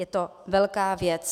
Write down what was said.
Je to velká věc.